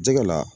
Jɛgɛ la